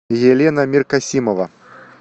елена меркасимова